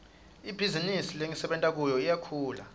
ibhizinisi lengisebenta kiyo iyakhula